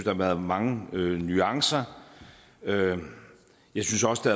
har været mange nuancer jeg synes også